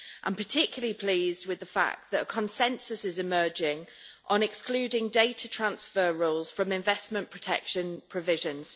I am particularly pleased with the fact that a consensus is emerging on excluding data transfer rules from investment protection provisions.